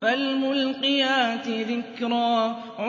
فَالْمُلْقِيَاتِ ذِكْرًا